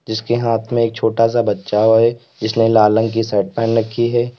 जिसके हाथ में एक छोटा सा बच्चा है और जिसने लाल रंग की शर्ट पहन रखी है।